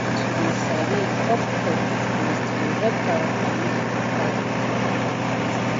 to de sabi important of disgrace to de help character wey dem find de important